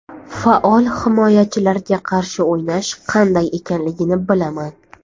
Faol himoyachilarga qarshi o‘ynash qanday ekanligini bilaman.